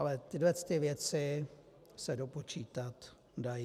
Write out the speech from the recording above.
Ale tyhle věci se dopočítat dají.